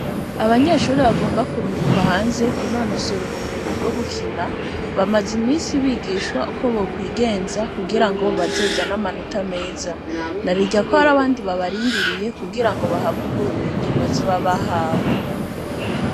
Abanyeshuri bagomba kurungikwa hanze kunonosora ubumenyi bwo gukina bamaze imisi bigishwa uko bokwigenza kugira ngo bazozan'amanota meza narirya ko hari abandi babarindiriye kugira ngo bahabwa ubumenyi bazobabahawe.